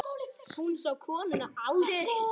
Hún sá konuna aldrei.